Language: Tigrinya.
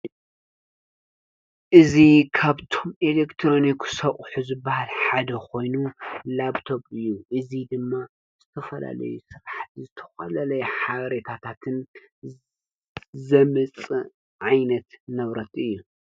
እዙ ኻብቱም ኤሌክትሮን ኩ ሶቝሕ ዝበል ሓደ ኾይኑ ላብቶብ እዩ እዙይ ድማ ዝተፈላለይ ሥቓሕ ዘተዃለለይ ሓሬታታትን ዘመጽ ዓይነት ነብረት እዩ።